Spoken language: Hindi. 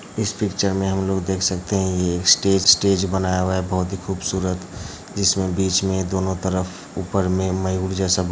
इस पिक्चर में हम लोग देख सकतें हैं | ये एक स्टेज - स्टेज बनाया हुआ है बहोत ही खूबसूरत | जिसमें बीच में दोनो तरफ ऊपर में मयूर जैसा ब --